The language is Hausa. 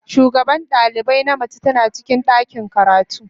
shugaban dalibai na mace tana cikin ɗakin karatu.